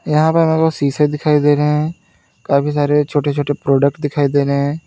यहां पर मेरे को शीशे दिखाई दे रहे हैं काफी सारे छोटे छोटे प्रोडक्ट दिखाई दे रहे हैं।